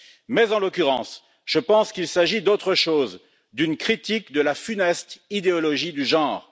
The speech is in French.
Mais, en l'occurrence, je pense qu'il s'agit d'autre chose, d'une critique de la funeste idéologie du genre.